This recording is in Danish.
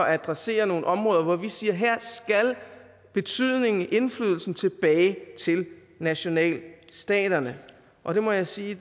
at adressere nogle områder hvor vi siger at her skal indflydelsen tilbage til nationalstaterne og det må jeg sige